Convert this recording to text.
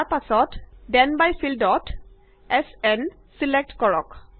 তাৰ পাছত then by ফিল্ডত এছ এন ছিলেক্ট কৰক